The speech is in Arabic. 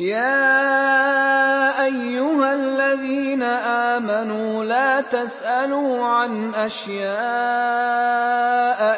يَا أَيُّهَا الَّذِينَ آمَنُوا لَا تَسْأَلُوا عَنْ أَشْيَاءَ